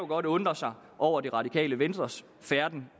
godt undre sig over det radikale venstres færden